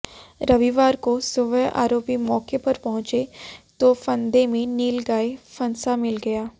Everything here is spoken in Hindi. रविवार को सुबह आरोपी मौके पर पहुंचे तो फंदे में नीलगाय फंसा मिल गया